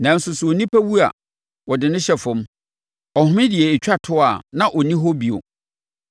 Nanso, sɛ nnipa wu a wɔde no hyɛ fam; ɔhome deɛ ɛtwa toɔ a, na afei ɔnni hɔ bio.